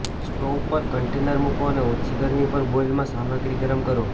stove પર container મૂકો અને ઓછી ગરમી પર બોઇલમાં સામગ્રી ગરમ કરો